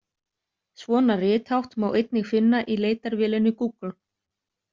Svona rithátt má einnig finna í leitarvélinni Google.